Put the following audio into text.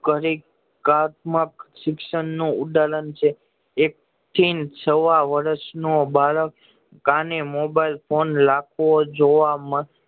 શિક્ષણ નું ઉદાહરણ છે એક થીં સવા વર્ષ નો બાળક કાને મોબાઈલ ફોન રાખતો જોવા મ